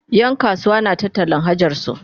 Yan kasuwa suna ta tallan hajarsu